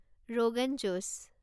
rogan josh